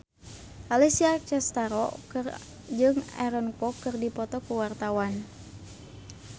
Alessia Cestaro jeung Aaron Kwok keur dipoto ku wartawan